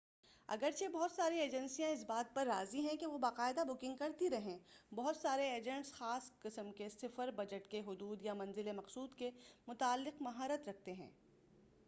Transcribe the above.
اگرچہ بہت ساری ایجنسیاں اس بات پر راضی ہیں کہ وہ باقاعدہ بکنگ کرتی رہیں بہت سارے ایجنٹس خاص قسم کے سفر بجٹ کی حدود یا منزل مقصود کے متعلق مہارت رکھتے ہیں